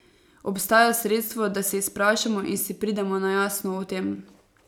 Obstaja sredstvo, da se izprašamo in si pridemo na jasno o tem.